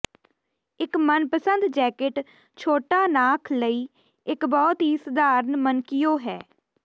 ਇੱਕ ਮਨਪਸੰਦ ਜੈਕੇਟ ਛੋਟਾ ਨਾਖ ਲਈ ਇੱਕ ਬਹੁਤ ਹੀ ਸਧਾਰਨ ਮਨਕੀਓ ਹੈ